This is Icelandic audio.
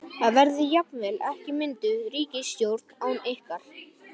Það verði jafnvel ekki mynduð ríkisstjórn án ykkar?